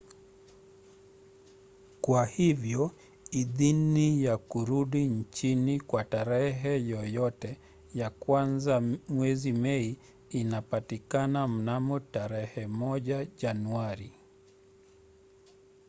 kwa hivyo idhini ya kurudi nchini kwa tarehe yoyote ya kuanza mwezi mei inapatikana mnamo tarehe 1 januari